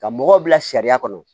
Ka mɔgɔw bila sariya kɔnɔ